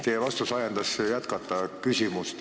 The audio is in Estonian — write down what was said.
Teie vastus ajendas küsimust jätkama.